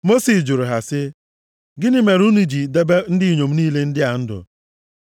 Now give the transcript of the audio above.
Mosis jụrụ ha sị, “Gịnị mere unu ji debe ndị inyom niile ndị a ndụ?